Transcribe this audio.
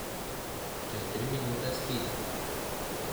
Čez tri minute spi.